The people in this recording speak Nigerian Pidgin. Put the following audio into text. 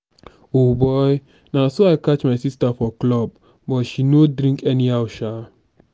o boy na so i catch my sister for club but she no drink anyhow sha.